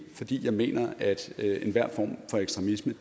fordi jeg mener at enhver form for ekstremisme